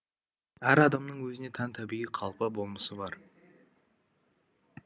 әр адамның өзіне тән табиғи қалпы болмысы бар